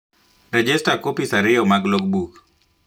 Rejesta kopis ariyo mag logbook